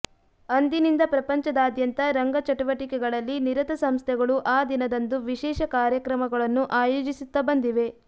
ಅಂದಿನಿಂದ ಪ್ರಪಂಚದಾದ್ಯಂತ ರಂಗ ಚಟುವಟಿಕೆಗಳಲ್ಲಿ ನಿರತ ಸಂಸ್ಥೆಗಳು ಆ ದಿನದಂದು ವಿಶೇಷ ಕಾರ್ಯಕ್ರಮಗಳನ್ನು ಆಯೋಜಿಸುತ್ತಾ ಬಂದಿವೆ